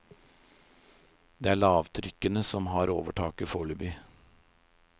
Det er lavtrykkene som har overtaket foreløpig.